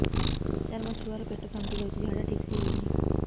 ସାର ମୋ ଛୁଆ ର ପେଟ ଫାମ୍ପି ଯାଉଛି ଝାଡା ଠିକ ସେ ହେଉନାହିଁ